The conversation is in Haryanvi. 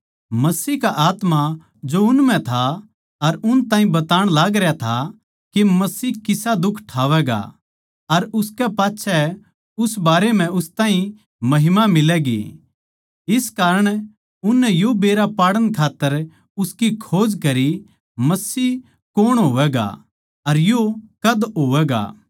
मसीह का आत्मा जो उन म्ह था अर उन ताहीं बताण लागरया था के मसीह किसा दुख ठावैगा अर उसकै पाच्छै उस बारे म्ह उस ताहीं महिमा मिलैगी इस कारण उननै यो बेरा पाड़ण खात्तर उसकी खोज करी मसीह कौण होवैगा अर यो कद होवैगा